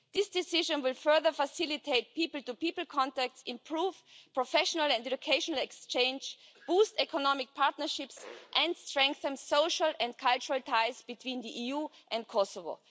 This decision will further facilitate people-to-people contacts, improve professional and educational exchange, boost economic partnerships and strengthen social and cultural ties between the EU and Kosovo.